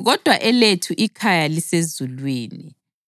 Kodwa elethu ikhaya lisezulwini.